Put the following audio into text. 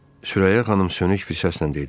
Sürəyya xanım sönük bir səslə dedi: